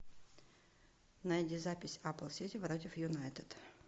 найди запись апл сити против юнайтед